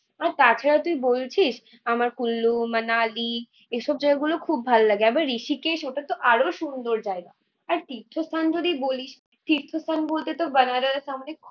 আর তাছাড়া তুই বলছিস আমার কুল্লু-মানালি এইসব জায়গাগুলো খুব ভালো লাগে। আবার ঋষিকেশ ওটাতো আরো সুন্দর জায়গা। আর তীর্থ স্থান যদি বলিস, তীর্থ স্থান বলতে তোর বেনারস আমাকে